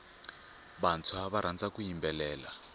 vantshwa va rhandza ku yimbelela